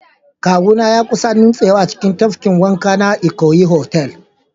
Kawuna ya kusa nutsewa a cikin tafkin wanka na Eko Hotel